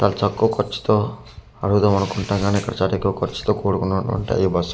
చాలా తక్కువ కర్చుతో అడుగుదము అనుకుంటాము కానీ ఇక్కడ కర్చుతో కుడుకున్నవి ఉంటాయి ఈ బస్లు .